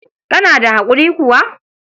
Kana da haƙuri kuwa?